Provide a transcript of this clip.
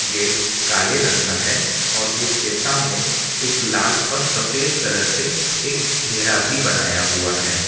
Gate काले रंग का है और उसके सामने एक लाल और सफेद कलर से एक घेरा भी बनाया हुआ है।